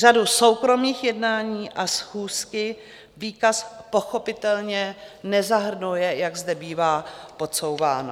Řadu soukromých jednání a schůzky výkaz pochopitelně nezahrnuje, jak zde bývá podsouváno.